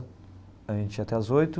A gente ia até às oito.